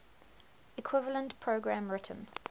equivalent program written